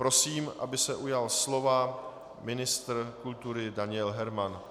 Prosím, aby se ujal slova ministr kultury Daniel Herman.